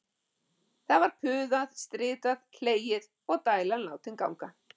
Það var puðað, stritað, hlegið og dælan látin ganga.